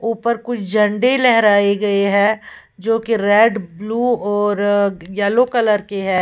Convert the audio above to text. उपर कुछ झंडे लहराए गए हैं जोकि रेड ब्लू और येलो कलर की है।